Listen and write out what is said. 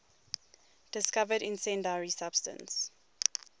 discovered incendiary substance